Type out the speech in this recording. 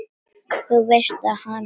Þú veist að hann.